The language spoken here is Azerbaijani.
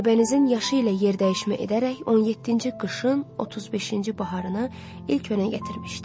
Aybənizin yaşı ilə yerdəyişmə edərək 17-ci qışın 35-ci baharını ilk önə gətirmişdi.